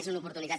és una oportunitat